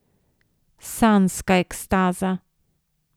Sanjska ekstaza.